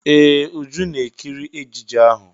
Ee! Uju ná-ekiri ejije ahụ.